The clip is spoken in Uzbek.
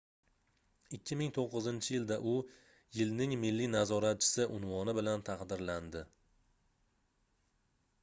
2009-yilda u yilning milliy nazoratchisi unvoni bilan taqdirlandi